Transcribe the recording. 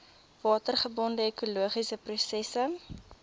watergebonde ekologiese prosesse